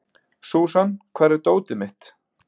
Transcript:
Súsan, hvar er dótið mitt?